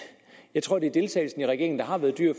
jeg tror at det er deltagelsen i regeringen der har været dyr